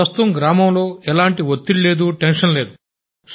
ప్రస్తుతం గ్రామంలో ఎలాంటి టెన్షన్ లేదు